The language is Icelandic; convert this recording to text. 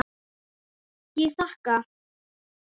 Ég þakka.